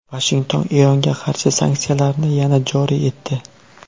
Vashington Eronga qarshi sanksiyalarni yana joriy etdi.